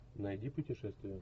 найди путешествие